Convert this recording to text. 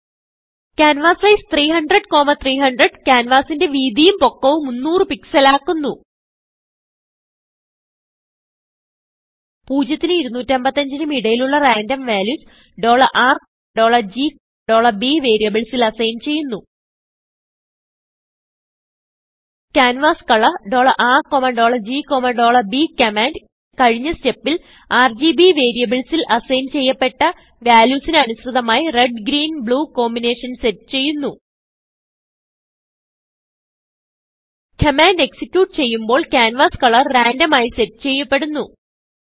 കാൻവാസൈസ്300300 ക്യാൻവാസിന്റെ വീതിയും പൊക്കവും 300 pixelആകുന്നു 0നും 255നും ഇടയിലുള്ള റാൻഡം വാല്യൂസ് R GBവേരിയബിൾസിൽ assignചെയ്യുന്നു കാൻവാസ്കോളർ RGB കമാൻഡ് കഴിഞ്ഞ stepൽ RGBവേരിയബിൾസിൽ അസൈൻ ചെയ്യപെട്ട valuesന് അനുസൃതമായി Red Green Blueകോമ്പിനേഷൻ സെറ്റ് ചെയ്യുന്നു കമാൻഡ് എക്സിക്യൂട്ട് ചെയ്യുമ്പോൾ ക്യാൻവാസ് കളർ റാൻഡം ആയി സെറ്റ് ചെയ്യപ്പെടുന്നു